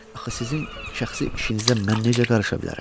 Axı sizin şəxsi işinizə mən necə qarışa bilərəm?